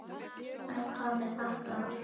En hvað með þetta ár?